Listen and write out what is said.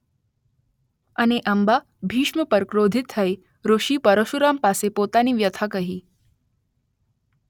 અને અંબા ભીષ્મ પર ક્રોધિત થઇ ઋષિ પરશુરામ પાસે પોતાની વ્યથા કહીં